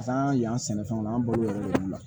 San yan sɛnɛfɛnw na an bolo olu la